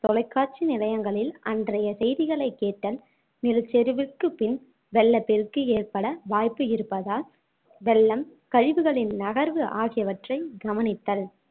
தொலைக்காட்சி நிலையங்களில் அன்றைய செய்திகளைக் கேட்டல் நிலச்சரிவுக்கு பின் வெள்ளப்பெருக்கு ஏற்பட வாய்ப்பு இருப்பதால் வெள்ளம் கழிவுகளின் நகர்வு ஆகியவற்றைக் கவனித்தல்